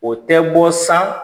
O tɛ bɔ san